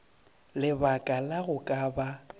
lebaka la go ka ba